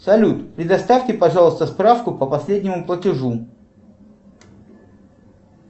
салют предоставьте пожалуйста справку по последнему платежу